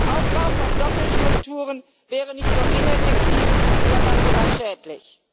Der Aufbau von Doppelstrukturen wäre nicht nur ineffektiv, sondern sogar schädlich.